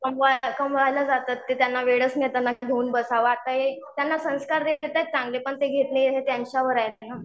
कमवायला जातात की त्यांना वेळच नाही मिळत की त्यांना घेऊन बसावं आता हे त्यांना संस्कार देतात ते चांगले पण ते घेतले न घेतले त्यांच्यावर आहे ते ना.